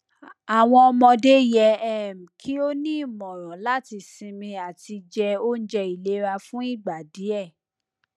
awọn ọmọde yẹ um ki o ni imọran lati sinmi ati je ounje ilera fun igba diẹ